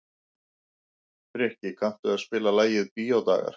Frikki, kanntu að spila lagið „Bíódagar“?